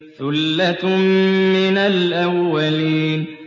ثُلَّةٌ مِّنَ الْأَوَّلِينَ